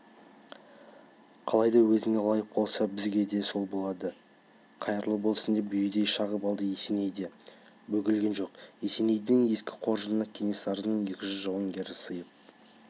қалайда өзіңе лайық болса бізге сол болады қайырлы болсын деп бүйідей шағып алды есеней де бөгелген жоқ есенейдің ескі қоржынына кенесарының екі жүз жауынгері сыйып